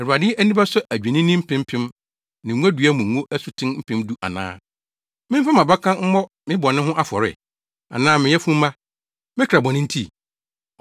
Awurade ani bɛsɔ adwennini mpempem ne ngodua mu ngo asuten mpem du ana? Memfa mʼabakan mmɔ me bɔne ho afɔre, anaa me yafunumma, me kra bɔne nti?